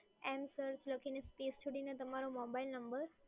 N search લખીને space છોડીને તમારો મોબાઇલ નંબર